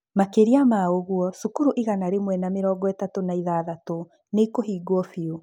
Makĩria ma ũguo, cukuru igana rĩmwe na mĩrongo ĩtatũ na ithathatũ nĩ ikũhingwo biũ.